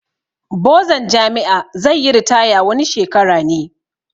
Bozan jami'a zai yi ritaya wani shekara ne